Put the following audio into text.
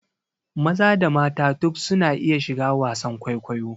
Maza da mata duk su na iya shiga wasan kwaikwayo